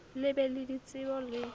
le be le ditsebo le